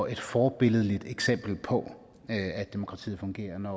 er et forbilledligt eksempel på at demokratiet fungerer når